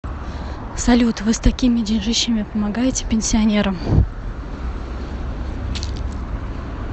салют вы с такими деньжищами помогаете пенсионерам